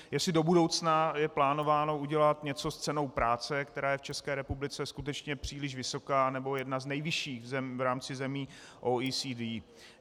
Jestli do budoucna je plánováno udělat něco s cenou práce, která je v České republice skutečně příliš vysoká, nebo jedna z nejvyšších v rámci zemí OECD.